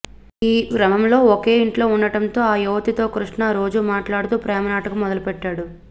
ఈ క్రమంలో ఒకే ఇంట్లో ఉండటంతో ఆ యువతితో కృష్ణ రోజూ మాట్లాడుతూ ప్రేమ నాటకం మొదలు పెట్టాడు